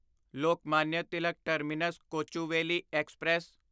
Lokmanya Tilak terminus Kochuveli express